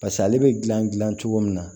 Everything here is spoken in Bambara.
Pas'ale bɛ gilan gilan cogo min na